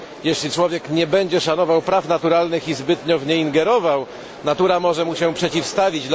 Jeśli człowiek nie będzie szanował praw naturalnych, lecz zbytnio w nie ingerował, natura może mu się przeciwstawić.